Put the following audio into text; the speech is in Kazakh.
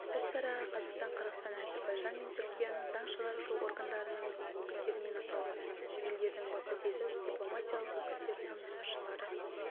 іс-шараға қазақстан қырғыстан әзербайжан мен түркияның заң шығарушы органдарының өкілдерімен аталған елдердің бакудегі дипломатиялық өкілдіктерінің басшылары